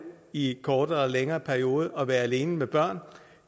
i kortere eller længere perioder at være alene med børn